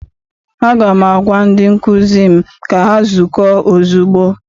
Aga m agwa ndị nkụzi m ka ha zukọọ ozugbo!